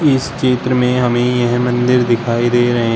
इस चित्र में हमें यह मंदिर दिखाई दे रहे--